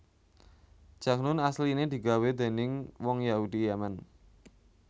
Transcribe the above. Jakhnun asliné digawé déning wong Yahudi Yaman